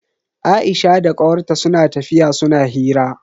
Aisha da kawar ta suna tafiya suna hira.